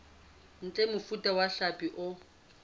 ntle mofuta wa hlapi o